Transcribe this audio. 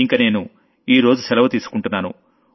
ఇంక నేను ఇవ్వాళ్టికి సెలవు తీసుకుంటున్నాను